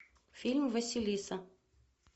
фильм василиса